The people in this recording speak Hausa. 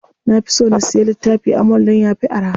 Na fi so na siya littifi a mall dan yafi araha.